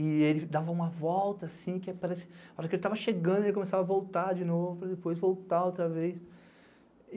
E ele dava uma volta assim, que era parecido, a hora que ele estava chegando, ele começava a voltar de novo, para depois voltar outra vez.